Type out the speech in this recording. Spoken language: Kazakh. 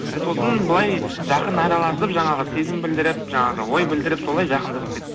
сосын былай жақын араласып жаңағы сезім білдіріп жаңағы ой білдіріп солай жақындасып